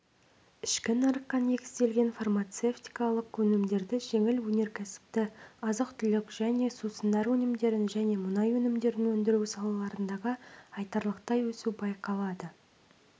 ішкі нарыққа негізінен фармацевтикалық өнімдерді жеңіл өнеркәсіпті азық-түлік және сусындар өнімдерін және мұнай өнімдерін өндіру салаларындағы айтарлықтай өсу байқалады